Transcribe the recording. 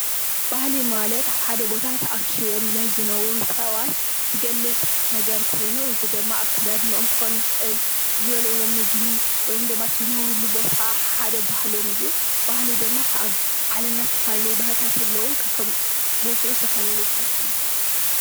ባህሊ ማለት ኣብ ሓደ ቦታ ተኣኪቦም ናይ ዝነብሩ ሰባት ዝገልፅ ነገር ኮይኑ እዚ ደማ ኣከዳድነኦም ክከዉን ይክእል ዝበልዕዎ ምግቢ ወይም ደማ እቲ ዝነብርሉ ቦታ ሓደ ባህሎም እዩ ።ባህሊ ደማ ኣብ ዓለምና ዝተፈላለዩ ባህልታት ኣለዉ ከከም ቦትኡ ዝተፈላልዩ ባህሊ ክህሉ ይክእል ።